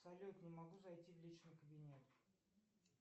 салют не могу зайти в личный кабинет